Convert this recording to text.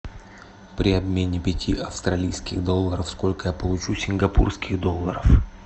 при обмене пяти австралийских долларов сколько я получу сингапурских долларов